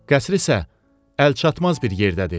Qəsr isə əlçatmaz bir yerdədir.